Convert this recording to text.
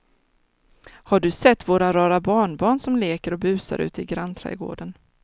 Har du sett våra rara barnbarn som leker och busar ute i grannträdgården!